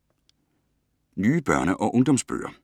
Nye børne- og ungdomsbøger